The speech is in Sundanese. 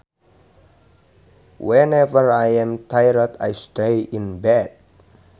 Whenever I am tired I stay in bed